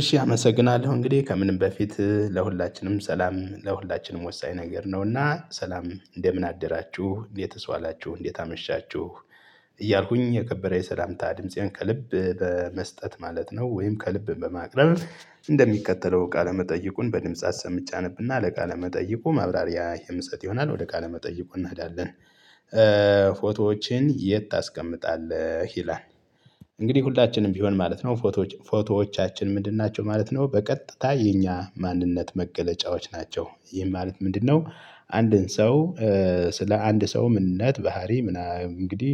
እሺ አመሰግናለሁ እንግዲህ ከምንም በፊት ለሁላችንም ሰላም ለሁላችንም ወሳኝ ነገር ነውና ሰላም እንደምን አደራችሁ? እንዴትስ ዋላችሁ? እንዴት አመሻችሁ? እያልኩኝ የከበረ የሰላምታ ድምፄን ከልብ በመስጠት ማለት ነው ወይም ከልብ በማቅረብ እንደሚከተለው ቃለ መጠይቁን በድምጽ አሰምቼ አነብና ለቃለ መጠይቁ ማብራሪያ የምሰጥ ይሆናል ወደ ቃለ መጠይቁ እናዳለን። ፎቶዎችን የት ታስቀምጣለህ? ይላል እንግዲህ ሁላችንም ቢሆን ማለት ነው ፎቶዎች ፎቶዎቻችን ምንድን ናቸው ማለት ነው? በቀጥታ የኛ ማንነት መገለጫዎች ናቸው ይህም ማለት ምንድነው? አንድን ሰው ስለ አንድ ሰው ምንነት ባህሪ ምናምን እንግዲህ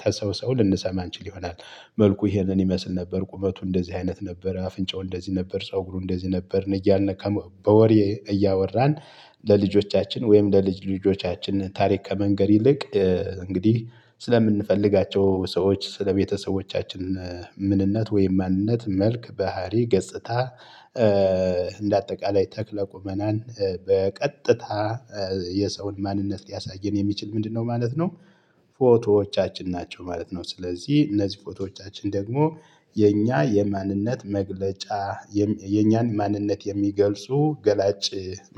ተሰው ሰው ልንሰማ እንችል ይሆናል። መልኩ ይሄንን ይመስል ነበር ቁመቱ እንደዚህ አይነት ነበር አፍንጫው እንደዚህ ነበር ፀጉሩ እንደዚህ ነበርን እያልን በወሬ እያወራን ለልጆቻችን ወይም ለልጅ ልጆቻችን ታሪክ ከመንገር ይልቅ እንግዲህ ስለምንፈልጋቸው ሰዎች ስለቤተሰቦቻችን ምንነት ወይም ማንነት መልክ ባህሪ ገጽታ እንደ አጠቃላይ ተክለ ቁመናን በቀጥታ የሰውን ማንነት ሊያሳየን የሚችል ምንድነው ማለት ነው? ፎቶዎቻችን ናቸው ማለት ነው ስለዚህ እነዚህ ፎቶዎቻችን ደግሞ የኛ የማንነት መግለጫ የኛን ማንነት የሚገልጹ ገላጭ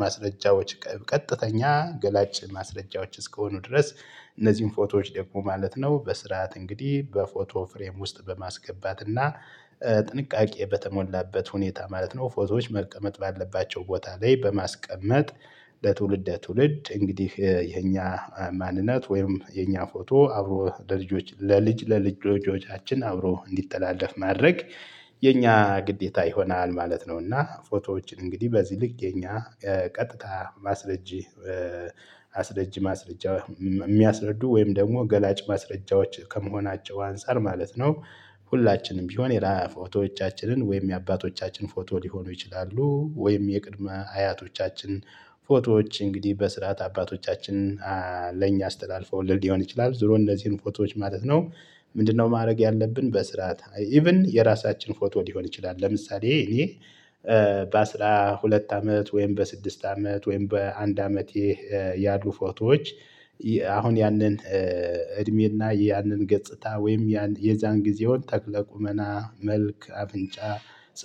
ማስረጃዎች ቀጥተኛ ገላጭ ማስረጃዎች እስከሆኑኑ ድረስ እነዚህን ፎቶዎች ደግሞ ማለት ነው በስርዓት እንግዲህ በፎቶ ፍሬም ውስጥ በማስገባት እና ጥንቃቄ በተሞላበት ሁኔታ ማለት ነው ፎቶዎች መቀመጥ ባለባቸው ቦታ ላይ በማስቀመጥ ለትውልድ ለትውልድ እንግዲህ የኛ ማንነት ወይም የኛ ፎቶ አብሮ ለልጅ ለልጅ ጆታችን አብሮ እንዲተላለፍ ማድረግ የኛ ግዴታ ይሆናል ማለት ነው። እና ፎቶዎችን እንግዲህ በዚህ ልክ የኛ ቀጥታ ማስረጂ አስረጂ ማስረጃ የሚያስረዱ ወይም ደግሞ ገላጭ ማስረጃዎች ከመሆናቸው አንፃር ማለት ነው ሁላችንም ቢሆን የራሳቸውን ፎቶዎቻችንን ወይም የአባቶቻችን ፎቶ ሊሆኑ ይችላሉ ወይም የቅድመ አያቶቻችን ፎቶዎች እንግዲህ በስርዓት አባቶቻችን ለእኛ አስተላልፈው ልል ሊሆን ይችላል ዝሮ እንደዚህን ፎቶዎች ማለት ነው ምንድነው ማድረግ ያለብን? በስርዓት ኢቭን የራሳችን ፎቶ ሊሆን ይችላል ለምሳሌ እኔ በአስራ ሁለት አመት ወይም በስድስት አመት ወይም በአንድ አመት ያሉ ፎቶዎች አሁን ያንን እድሜና ያንን ገጽታ ወይም ያን የዛን ጊዜውን ተክለ ቁመና መልክ አብንጫ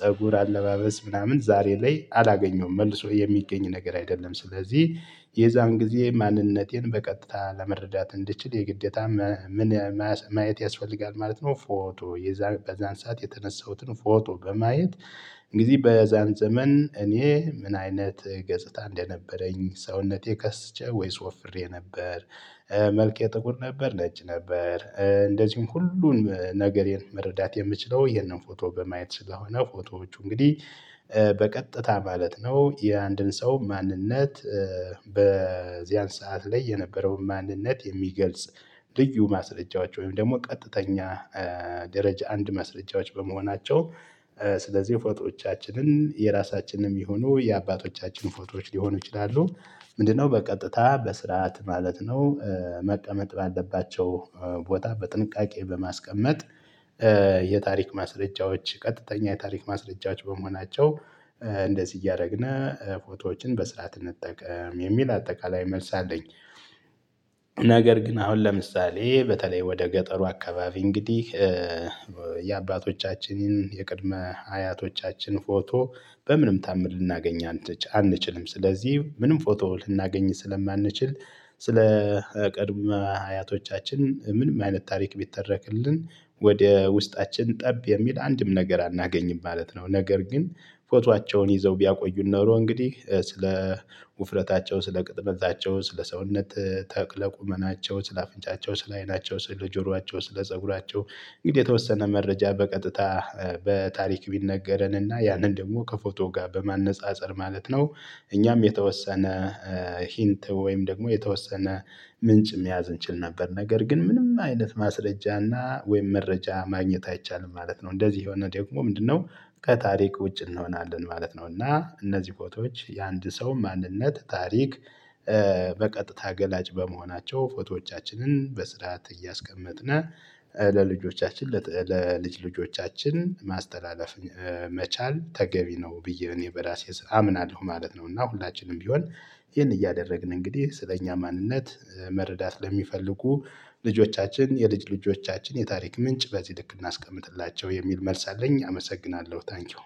ፀጉር አለባበስ ምናምን ዛሬ ላይ አላገኘሁም መልሶ የሚገኝ ነገር አይደለም ስለዚህ የዛን ጊዜ ማንነቴን በቀጥታ ለመረዳት እንድችል የግዴታ ምን ማየት ያስፈልጋል ማለት ነው? ፎቶ የዛን በዛን ሰዓት የተነሳሁትን ፎቶ በማየት እንግዲህ በዛን ዘመን እኔ ምን አይነት ገጽታ እንደነበረኝ ሰውነቴ ከስቼ ወይስ ወፍሬ ነበር መልቅ የጥቁር ነበር፣ ነጭ ነበር እንደዚሁም ሁሉንም ነገር መረዳት የምችለው ይሄንን ፎቶ በማየት ስለሆነ ፎቶዎቹ እንግዲህ በቀጥታ ማለት ነው የአንድን ሰው ማንነት በዚያን ሰዓት ላይ የነበረውን ማንነት የሚገልጽ ልዩ ማስረጃዎች ወይም ደግሞ ቀጥተኛ ደረጃ አንድ ማስረጃዎች በመሆናቸው ስለዚህ ፎቶዎቻችንን የራሳችንንም ይሁኑ የአባቶቻችን ፎቶዎች ሊሆኑ ይችላሉ ምንድነው? በቀጥታ በስርዓት ማለት ነው መቀመጥ ባለባቸው ቦታ በጥንቃቄ በማስቀመጥ የታሪክ ማስረጃዎች ቀጥተኛ የታሪክ ማስረጃዎች በመሆናቸው እንደዚህ እያደረግን ፎቶዎችን በስርዓት እንጠቀም የሚል አጠቃላይ መልስ አለኝ። ነገር ግን አሁን ለምሳሌ በተለይ ወደ ገጠሩ አካባቢ እንግዲህ የአባቶቻችንን የቅድመ አያቶቻችን ፎቶ በምንም ታምር ልናገኝ አንችልም። ስለዚህ ምንም ፎቶ ልናገኝ ስለማንችል ስለ ቅድመ አያቶቻችን ምንም አይነት ታሪክ ቢተረክልን ወደ ውስጣችን ጠብ የሚል አንድም ነገር አናገኝም ማለት ነው። ነገር ግን ፎቷቸውን ይዘው ቢያቆዩን ኖሮ እንግዲህ ስለ ውፍረታቸው ስለ ቅጥመታቸው ስለ ሰውነት ተክለ ቁመናቸው ስለ አፍንጫቸው ስለ አይናቸው ስለ ጆሯቸው ስለ ፀጉራቸው እንግዲህ የተወሰነ መረጃ በቀጥታ በታሪክ ቢነገረንና ያንን ደግሞ ከፎቶ ጋር በማነፃፀር ማለት ነው እኛም የተወሰነ ሂንት ወይም ደግሞ የተወሰነ ምንጭ መያዝ እንችል ነበር ነገር ግን ምንም አይነት ማስረጃና ወይም መረጃ ማግኘት አይቻልም ማለት ነው እንደዚህ ይሄው እና ደግሞ ምንድነው ከታሪክ ውጭ እንሆናለን ማለት ነው እና እነዚህ ፎቶዎች የአንድ ሰው ማንነት ታሪክ በቀጥታ ገላጭ በመሆናቸው ፎቶዎቻችንን በስርዓት እያስቀመጥን ለልጆቻችን ለልጅ ልጆቻችን ማስተላለፍ መቻል ተገቢ ነው ብዬ እኔ በራሴ አምናለሁ ማለት ነው። እና ሁላችንም ቢሆን ይህን እያደረግን እንግዲህ ስለእኛ ማንነት መረዳት ለሚፈልጉ ልጆቻችን የልጅ ልጆቻችን የታሪክ ምንጭ በዚህ ልክ እናስቀምጥላቸው የሚል መልስ አለኝ። አመሰግናለሁ ታንኪው።